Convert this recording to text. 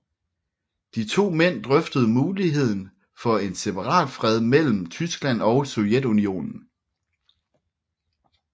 De to mænd drøftede muligheden for en separatfred mellem Tyskland og Sovjetunionen